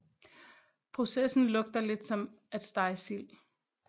Processen lugter lidt som at stege sild